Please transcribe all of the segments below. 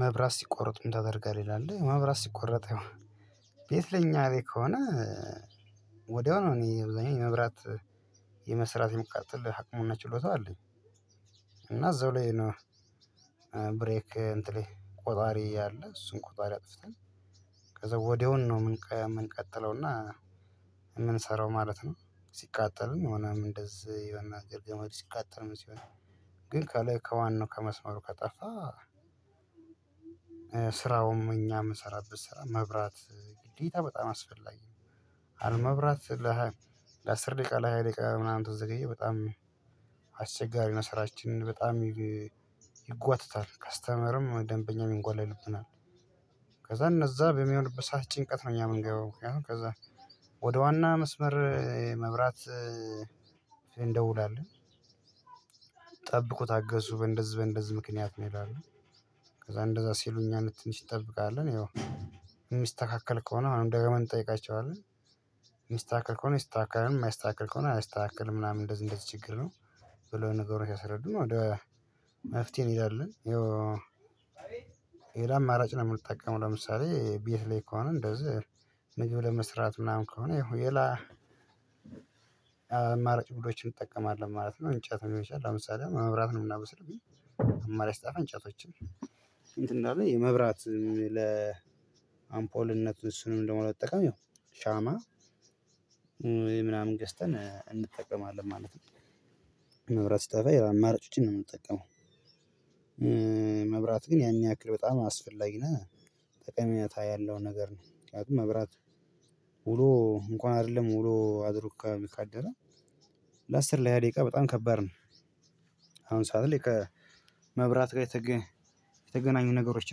መብራት ሲቆረጥ ምን ታደርጋለህ ይላል መብራት ሲቆረጥ የሆነ ቤት ለኛ እኔ ከሆነ ወዲያው ነው እኔ አብዛኛው የመብራት የመስራት የመቀጠል አቅሙና ችሎታው አለኝ። እና እዚሁ ላይ ነው ብሬኬ እንትኔ ቆጣሪ አለ። እሱን ቆጣሪ አጥፍተን ከዛ ወዲያውኑ ነው የምንቀጥለውና የምንሰራው ማለት ነው ሲቃጠልም ሆነ እንደዚህ የሆነ ገመድ ሲቃጠልም ሲሆን ግን ከላይ ከዋናው ከመስመሩ ከጠፋ ስራውም እኛ የምንሰራው ስራ ማብራት ግዴታ በጣም አስፈላጊ ነው። አለማብራት ለ አስር ደቂቃ ለሃያ ድቂቃ ተዘገየ በጣም አስቸጋሪ ነው ስራችን በጣም ይጓተታል። ከስተመርም ደንበኛ ይጉላላብናል። ከዛ እነዛ በሚሆንበት ሰዓት ጭንቀት ነው እኛ የምንገባው ከዛ ወደ ዋና መስመር መብራት እንደውላለን ጠብቁ ታገሱ እንደዚህ በእንደዚህ ምክንያት ነው ይላሉ። ከዛ እንደዛ ሲሉኝ አንድ ትንሽ ይጠብቃል ያው የሚስተካከል ከሆነ አሁንም ደግመን እንጠይቃቸዋለን። የሚስተካከል ከሆነ ይስተካከላል። የማይስተካከል ከሆነ አያስተካክል ምናምን እንደዚህ እንደዚህ ችግር ነው ብሎ ነገሮች ያስረዱን ወደ መፍትሄ እንሄዳለን ይሄው ሌላ አማራጭ ነው የምንጠቀመው ለምሳሌ ቤት ላይ ከሆነ እንደዚህ ምግብ ለመስራት ምናምን ከሆነ ይሄው ሌላ አማራጭ ቡድኖችን እንጠቀማለን ማለት ነው። እንጨት ልሆን ይችላል። ለ ምሳሌ መብራት ነው የምናበስልብኝ አማራጭ ስጠፋ እንጨቶችን ለኔ ማብራት ለአምፖልነት እሱንም ደግሞ ለመጠቀም ያው ሻማ ወይ ምናምን ገዝተን እንጠቀማለን ማለት ነው። መብራት ሲጠፋ አማራጮችን ነው የምንጠቀመው። መብራት ግን ያን ያክል በጣም አስፈላጊ ነህ ጠቀሜታ ያለው ነገር ነው መብራት ውሎ እንኳን አይደለም ውሎ አድሮ ካደረ ለአስር ለሃያ ደቂቃ በጣም ከባድ ነው። አሁን ሰዓት ላይ ከመብራት ጋር የተገናኙ ነገሮች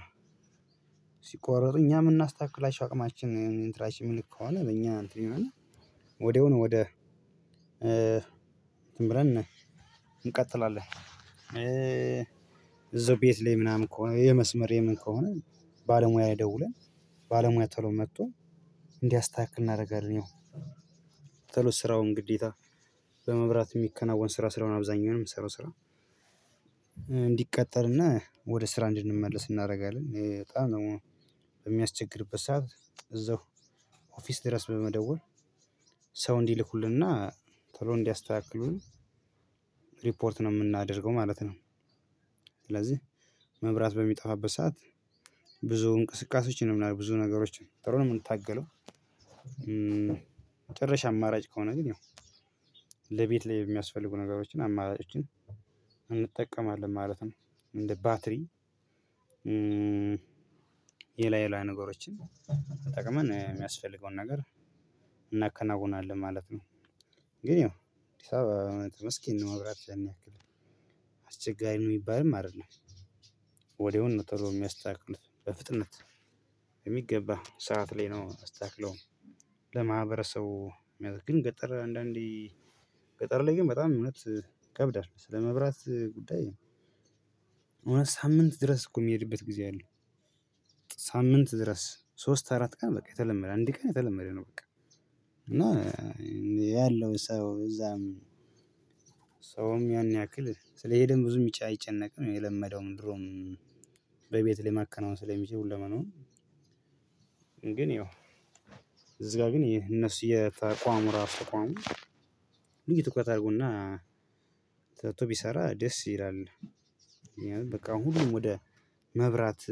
ነው ሲቆረጥ እኛ የምናስተካክላችሁ አቅማችን እንትናችን የሚል ከሆነ ለእኛ እንትን ወዲያው ነው ወደ እንትን ብለን እንቀጥላለን። እዛው ቤት ላይ ምናምን ከሆነ የመስመር የምን ከሆነ ባለሙያ ይደውላል። ባለሙያ ቶሎ መጥቶ እንዲያስተካክል እናደርጋለን ያው ቶሎ ስራውን ግዴታ በመብራት የሚከናወን ስራ ስለሆነ አብዛኛውንም የምሰራው ስራ እንዲቀጠል እና ወደ ስራ እንዲመለስ እናደርጋለን። ይሄ በጣም ነው በምያስቸግርበት ሰዓት እዛው ኦፍስ ድረስ በመደወል ሰው እንዲልኩልን ና ቶሎ እንዲያስተካክሉ ሪፖርት ነው የምናደርገው ማለት ነው። ስለዚህ መብራት በሚጠፋበት ሰዓት ብዙ እንቅስቃሴዎችን የምናደርገው ብዙ ነገሮችን ጥሩንም እምንታገለው የመጨረሻ አማራጭ ከሆነ ግን ያው ለቤት ላይ የሚያስፈልጉ ነገሮችን አማራጮችን እንጠቀማለን ማለት ነው። እንደ ባትሪ ሌላ ሌላ ነገሮችን ተጠቅመን የሚያስፈልገውን ነገር እናከናውናለን ማለት ነው። ግን ያው ዲሳ ማብራት ያን ያክል። አስቸጋሪ የሚባልም አይደለም። ወዲያውኑ ቶሎ የምያስተካክሉት በፍጥነት። የሚገባህ ሰዓት ላይ ነው የማስተካከለው ለማህበረሰቡ ግን ገጠር አንዳንዴ ገጠር ላይ ግን በጣም እውነት ይከብዳል ስለመብራት ጉዳይ እውነት ሳምንት ድረስ እኮ የሚሄድበት ጊዜ አለ ሳምንት ድረስ ሶስት አራት ቀን በቃ የተለመደ አንድ ቀን የተለመደ ነው በቃ። እና ያለው ሰው እዛም ሰውም ያን ያክል ስለሄደም ብዙም የሚጫ አይጨነቅም የለመደውም ድሮም በቤት ላይ ማከናወን ስለሚችል ሁለ መናዉን ግን ያው እዚህ ጋር ግን ይሄ እነሱ የተቋሙ ራሱ ተቋሙ ልዩ ትኩረት አድርጎና ተግቶ ቢሰራ ደስ ይላል በቃ ሁሉም ወደ መብራት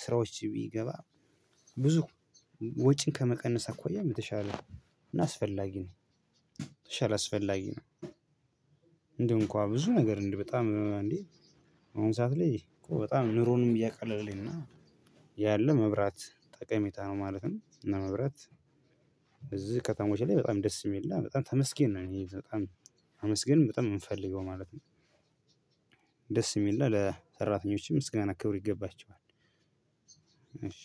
ስራዎች ቢገባ ብዙ ወጪን ከመቀነስ አኳያ የተሻለ ነው። ነው አስፈላጊ ነው እንደው እንኳን ብዙ ነገር እንድ በጣም እንዴ አሁን ሰዓት ላይ እኮ በጣም ኑሮንም እያቀለልን ነው። ያለ መብራት ጠቀሜታ ነው ማለትም እና መብራት እዚህ ከተሞች ላይ በጣም ደስ የሚል እና በጣም ተመስገን ነው እኔ በጣም ማመስግን በጣም የምንፈልገው ማለት ነው ደስ የሚልና ለሰራተኞችም ምስጋና ክብር ይገባቸዋል። እሺ